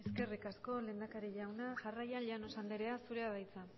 eskerrik asko lehendakari jauna jarraian llanos andrea zurea da hitza